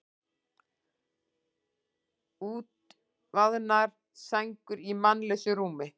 Útvaðnar sængur í mannlausu rúmi.